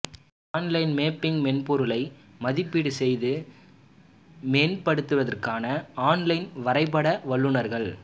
online mapping மென்பொருளை மதிப்பீடு செய்து மேம்படுத்துவதற்கான ஆன்லைன் வரைபட வல்லுநர்கள்